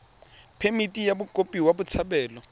phemithi ya mokopi wa botshabelo